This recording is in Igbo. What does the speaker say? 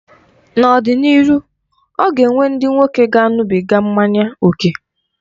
N'ọ dị n'ịrụ, ọ ga-enwe ndị nwoke ga-aṅụbịga mmanya oke.